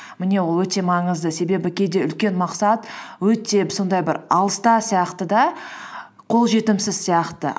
міне ол өте маңызды себебі кейде үлкен мақсат өте сондай бір алыста сияқты да қол жетімсіз сияқты